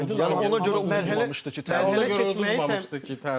Yəni ona görə udmaz yəni ona görə udulmamışdı ki, təmin elə.